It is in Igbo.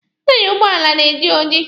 Taya ụgbọala na-eji oji.